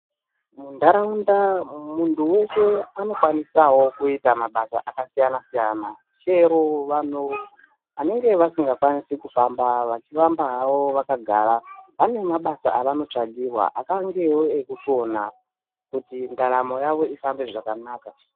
Munharaunda munhu weshe unokwanisawo kuita mabasa akasiyana siyana. Chero vanhu vanenge vasingakwanisi kufamba vachifamba havo vakagara vane mabasa avanotsvagirwa akangewo ekusona kuti ndaramo yavo ifambe zvakanaka